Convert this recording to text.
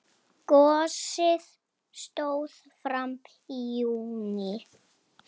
Gosið stóð fram í júní.